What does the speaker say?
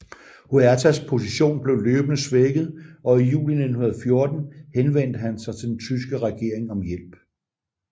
Huertas position blev løbende svækket og i juli 1914 henvendte han sig til den tyske regering om hjælp